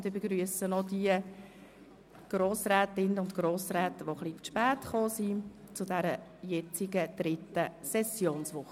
Ich begrüsse noch die Grossrätinnen und Grossräte, die etwas zu spät gekommen sind.